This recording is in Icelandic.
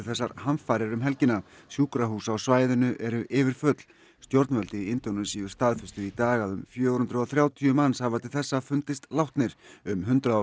þessar hamfarir um helgina sjúkrahús á svæðinu eru yfirfull stjórnvöld í Indónesíu staðfestu í dag að um fjögur hundruð og þrjátíu manns hafa til þessa fundist látnir um hundrað